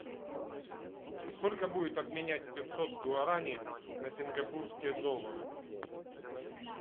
сколько будет обменять пятьсот гуарани на сингапурские доллары